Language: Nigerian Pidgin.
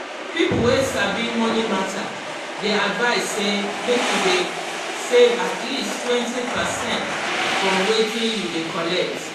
people wey sabi money matter dey advise say make you dey save at leasttwentypercent from wetin you dey collect.